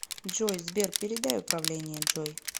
джой сбер передай управление джой